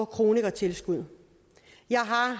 kronikertilskud jeg har